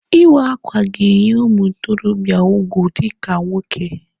Ịwa akwa ga-enye ụmụ ntorobịa ugwu dịka nwoke.